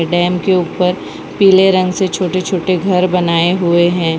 Dam के ऊपर पीले रंग से छोटे छोटे घर बनाए हुए हैं।